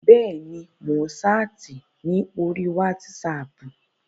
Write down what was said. Bẹ́ẹ̀ni, mò ń ṣáàtì ní orí wátísapù